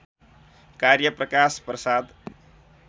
कार्य प्रकाश प्रसाद